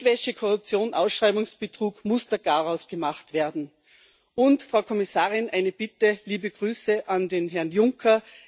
Geldwäsche, Korruption und Ausschreibungsbetrug muss der Garaus gemacht werden. Und, Frau Kommissarin, eine Bitte Liebe Grüße an Herrn Juncker.